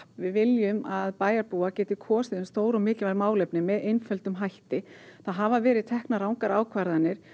við viljum að bæjarbúar geti kosið um stór og mikilvæg málefni með einföldum hætti það hafa verið teknar rangar ákvarðanir